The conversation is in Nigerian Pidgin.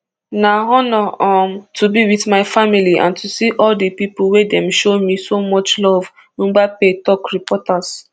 na honour um to be wit my family and to see all di pipo wey dem show me so much love mpabbe tok reporters